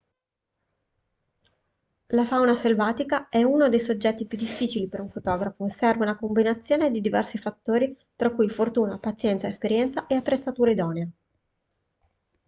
la fauna selvatica è uno dei soggetti più difficili per un fotografo serve una combinazione di diversi fattori tra cui fortuna pazienza esperienza e attrezzatura idonea